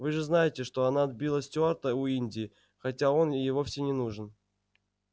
вы же знаете что она отбила стюарта у инди хотя он ей вовсе не нужен